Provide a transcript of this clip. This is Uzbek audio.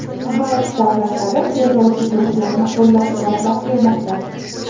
G‘arb davlatlari terrorchi guruhlarni qo‘llab-quvvatlab kelmoqda.